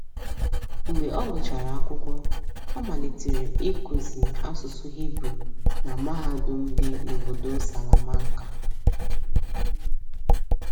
Mgbe ọ gụchara akwụkwọ, ọ malitere ịkụzi asụsụ Hibru na mahadum dị n’obodo Salamanka.